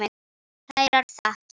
Kærar þakkir